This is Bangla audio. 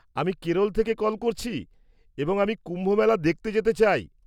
-আমি কেরল থেকে কল করছি এবং আমি কুম্ভমেলা দেখতে যেতে চাই।